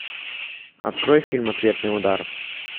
открой фильм ответный удар